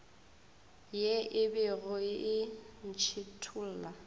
ye e bego e ntšhithola